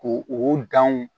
Ko o danw